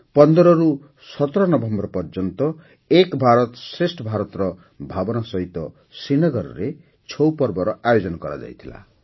୧୫ରୁ ୧୭ November ପର୍ଯ୍ୟନ୍ତ ଏକ୍ ଭାରତ ଶ୍ରେଷ୍ଠ୍ ଭାରତର ଭାବନା ସହିତ ଶ୍ରୀନଗରରେ ଛଉ ପର୍ବର ଆୟୋଜନ କରାଯାଇଥିଲା